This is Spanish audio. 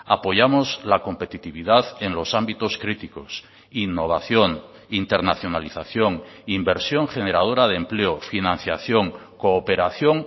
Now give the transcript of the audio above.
apoyamos la competitividad en los ámbitos críticos innovación internacionalización inversión generadora de empleo financiación cooperación